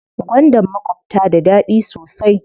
Gwandan makwabta da daɗi sosai.